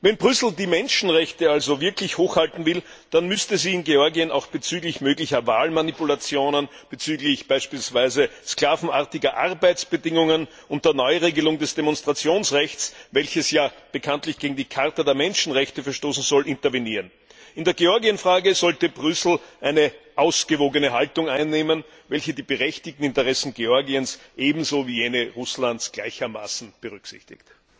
Wenn Brüssel die Menschenrechte also wirklich hochhalten will, dann müsste es in Georgien auch bezüglich möglicher Wahlmanipulationen, bezüglich beispielsweise sklavenartiger Arbeitsbedingungen und der Neuregelung des Demonstrationsrechts, welches ja bekanntlich gegen die Charta der Menschenrechte verstoßen soll, intervenieren. In der Georgienfrage sollte Brüssel eine ausgewogene Haltung einnehmen, welche die berechtigten Interessen Georgiens ebenso wie jene Russlands gleichermaßen berücksichtigt.